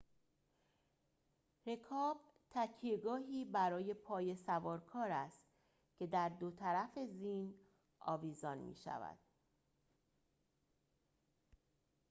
رکاب تکیه‌گاهی برای پای سوارکار است که در دو طرف زین آویزان می‌شود